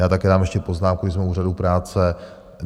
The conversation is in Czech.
Já také dám ještě poznámku, když jsme u úřadu práce.